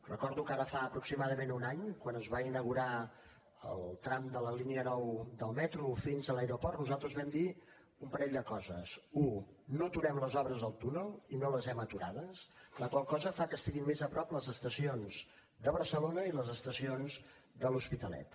recordo que ara fa aproximadament un any quan es va inaugurar el tram de la línia nou del metro fins a l’aeroport nosaltres vam dir un parell de coses u no aturem les obres del túnel i no les hem aturades la qual cosa fa que estiguin més a prop les estacions de barcelona i les estacions de l’hospitalet